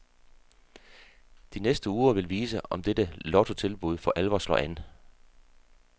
De næste uger vil vise, om dette lottotilbud for alvor slår an.